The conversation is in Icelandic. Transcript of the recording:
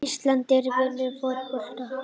Ísland er að vinna fótboltaleikinn.